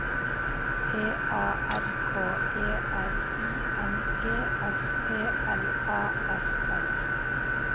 P A R K E R I N G S P L A S S